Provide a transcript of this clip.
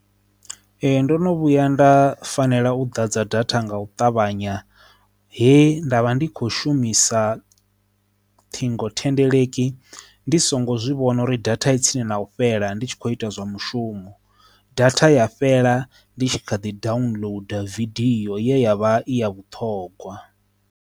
Ee, ndo no vhuya nda fanela u ḓa dza data nga u ṱavhanya he ndavha ndi kho shumisa ṱhingothendeleki ndi songo zwivhona uri data tsini na u fhela ndi tshi kho ita zwa mushumo data ya fhela ndi tshi kha ḓi downloader vidio yavha i ya vhuṱhongwa.